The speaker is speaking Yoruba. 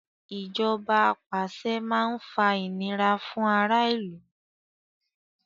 Ìjọba apàṣẹ máa ń fa ìnira fún ará ìlú.